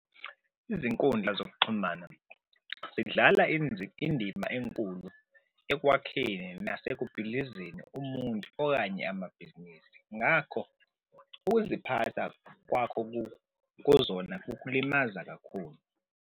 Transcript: Izinkundla zokuxhumana zidlala indima enkulu ekwakheni nasekubhidlizeni umuntu okanye amabhizinisi. Ngakho ukuziphatha kwakho kuzona kukulimaza kakhulu.